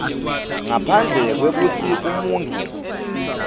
ngaphandle kwekutsi umuntfu